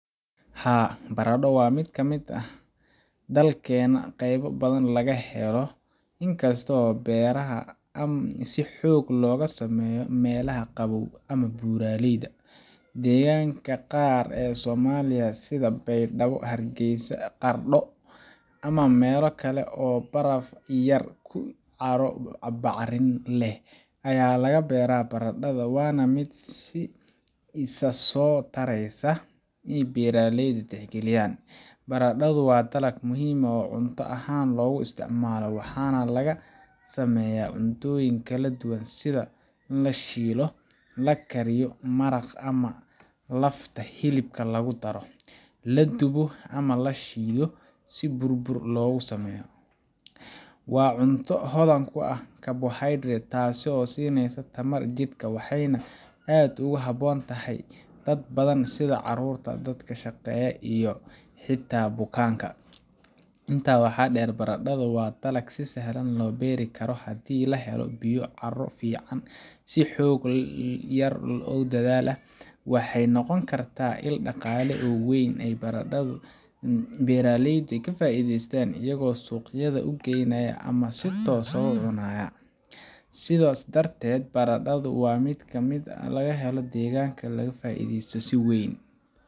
Haa, baradho waa mid laga helo dalkeenna qaybo badan oo ka mid ah, inkastoo beeraheeda si xoog leh looga sameeyo meelaha qabow ama buuraleyda. Deegaannada qaar ee Soomaaliya sida Baydhabo, Hargeysa, Qardho, ama meelo kale oo baraf yar iyo carro bacrin ah leh ayaa laga beeraa baradhada, waana mid si isa soo taraysa ay beeraleydu u tixgeliyaan. Baradhadu waa dalag muhiim ah oo cunto ahaan aad loogu isticmaalo. Waxaa laga sameeyaa cuntooyin kala duwan sida: la shiilo, la kariyo maraq ama lafta hilibka lagu daro, la dubo, ama la shiido si bur loogu sameeyo. Waa cunto hodan ku ah karbohaydraytka, taasoo siinaysa tamar jidhka, waxayna aad ugu habboon tahay dad badan sida carruurta, dadka shaqeeya, iyo xitaa bukaanka. Intaa waxaa dheer, baradhada waa dalag si sahlan loo beeri karo haddii la helo biyo, carro fiican, iyo xoog yar oo dadaal ah. Waxay noqon kartaa il dhaqaale oo weyn oo ay beeraleydu ka faa’iidaystaan, iyagoo suuqyada u geynaya ama si toos ah u cuna. Sidaas darteed, baradhadu waa mid laga helo deegaankeena, lagana faa’iidaysto si weyn